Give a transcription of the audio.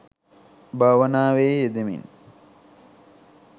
භාවනාවේ යෙදෙමින්